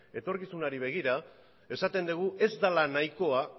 etorkizunari begira esaten dugu ez dela nahikoa